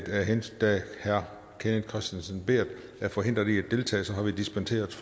da herre kenneth kristensen berth er forhindret i at deltage har vi dispenseret